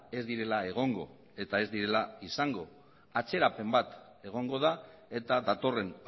ez direla egongo eta ez direla izango atzerapen bat egongo da eta datorren